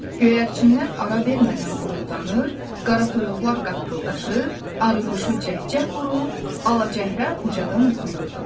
Göyərçinlər ara vermədən quruldanır, qaratoyuqlar qaqqıldaşır, arıquşu cəhcəh vurur, alacəhrə ucadan oxuyurdu.